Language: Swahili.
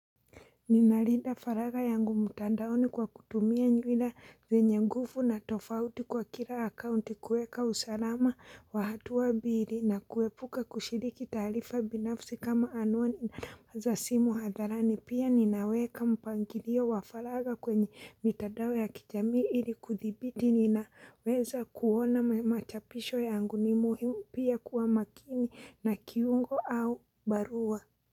Ninalinda faragha yangu mtandaoni kwa kutumia nywila zenye nguvu na tofauti kwa kila akaunti kueka usalama wa hatua mbili na kuepuka kushiriki taarifa binafsi kama anuwani na namba za simu hadharani pia ninaweka mpangilio wa faragha kwenye mitandao ya kijami ili kuthibiti ninaweza kuona machapisho yangu ni muhimu pia kuwa makini na kiungo au barua.